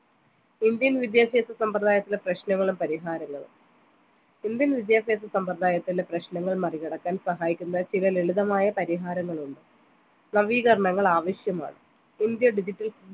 indian വിദ്യാഭ്യാസ സമ്പ്രദായത്തിലെ പ്രശ്‌നങ്ങളും പരിഹാരങ്ങളും indian വിദ്യാഭ്യാസ സമ്പ്രദായത്തിലുള്ള പ്രശ്നങ്ങൾ മറികടക്കാൻ സഹായിക്കുന്ന ചില ലളിതമായ പരിഹാരങ്ങളുണ്ട് നവീകരണങ്ങൾ ആവിശ്യമാണ് ഇന്ത്യ digital